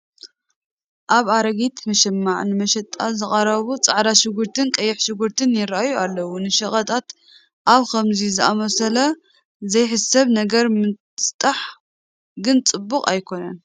ኣብ ኣረጊት መሸማዕ ንመሸጣ ዝቐረቡ ፃዕዳ ሽጉርትን ቀይሕ ሽጉርትን ይርአዩ ኣለዉ፡፡ ንሸቐጣት ኣብ ከምዚ ዝኣምሰለ ዘይስሕብ ነገር ምስጣሕ ግን ፅቡቕ ኣይኮነን፡፡